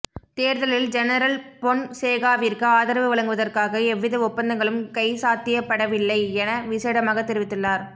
தேர்தலில் ஜெனரல் பொன்சேகாவிற்கு ஆதரவு வழங்குவதற்காக எவ்வித ஒப்பந்தங்களும் கைச்சாத்திடப்படவில்லை என விசேடமாக தெரிவித்துள்ளார்